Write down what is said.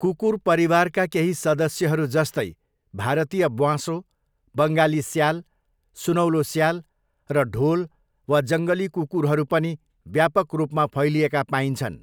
कुकुर परिवारका केही सदस्यहरू जस्तै भारतीय ब्वाँसो, बङ्गाली स्याल, सुनौलो स्याल, र ढोल वा जङ्गली कुकुरहरू पनि व्यापक रूपमा फैलिएका पाइन्छन्।